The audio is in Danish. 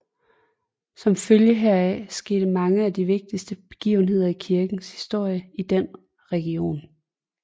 Som følge heraf skete mange af de vigtigste begivenheder i kirkens historie i den region